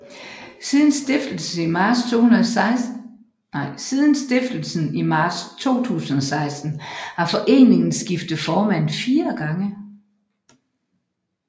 Siden stiftelsen i marts 2016 har foreningen skiftet formand fire gange